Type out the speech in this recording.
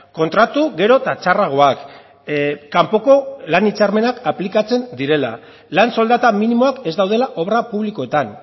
kontratu gero eta txarragoak kanpoko lan hitzarmenak aplikatzen direla lan soldata minimoak ez daudela obra publikoetan